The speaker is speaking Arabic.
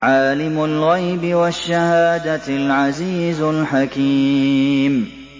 عَالِمُ الْغَيْبِ وَالشَّهَادَةِ الْعَزِيزُ الْحَكِيمُ